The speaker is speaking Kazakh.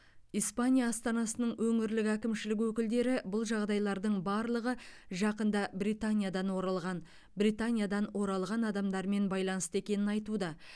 испания астанасының өңірлік әкімшілік өкілдері бұл жағдайлардың барлығы жақында британиядан оралған британиядан оралған адамдармен байланысты екенін айтуда